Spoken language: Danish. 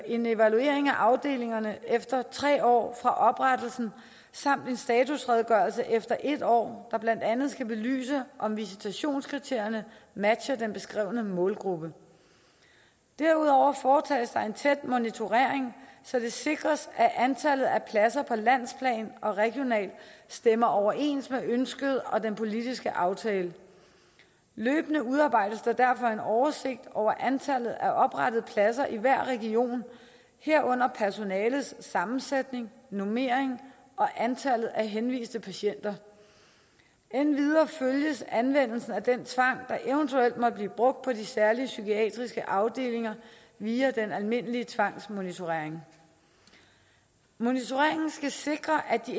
en evaluering af afdelingerne efter tre år fra oprettelsen samt en statusredegørelse efter en år der blandt andet skal belyse om visitationskriterierne matcher den beskrevne målgruppe derudover foretages der en tæt monitorering så det sikres at antallet af pladser på landsplan og regionalt stemmer overens med ønsket og den politiske aftale løbende udarbejdes der derfor en oversigt over antallet af oprettede pladser i hver region herunder personalets sammensætning normering og antallet af henviste patienter endvidere følges anvendelsen af den tvang der eventuelt måtte blive brugt på de særlige psykiatriske afdelinger via den almindelige tvangsmonitorering monitoreringen skal sikre at de